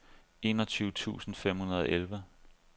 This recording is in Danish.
enogtyve tusind fem hundrede og elleve